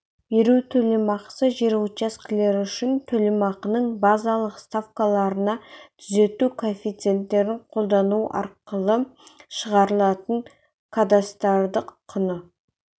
беру төлемақысы жер учаскелері үшін төлемақының базалық ставкаларына түзету коэффициенттерін қолдану арқылы шығарылатын кадастрлық құны